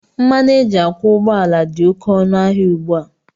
Mmanụ éjị akwọ ụgbọala dị oké ọnụ ahịa ugbua.